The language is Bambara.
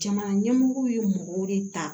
Jamana ɲɛmɔgɔw ye mɔgɔw de ta